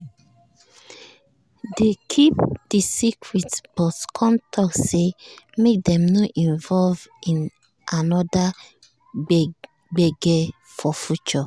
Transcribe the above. dey keep the secret but con talk say make dem no involve in another gbege for future